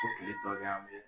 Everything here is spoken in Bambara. tile tɔ ɲame